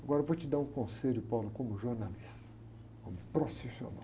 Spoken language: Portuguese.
Agora eu vou te dar um conselho, como jornalista, como profissional.